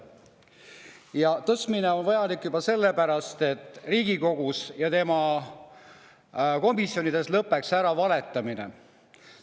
Selle tõstmine on vajalik juba sellepärast, et Riigikogus ja tema komisjonides lõpeks ära valetamine.